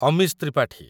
Amish Tripathi